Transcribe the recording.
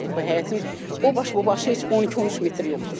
Həyətin o baş bu başı heç 12-13 metr yoxdur.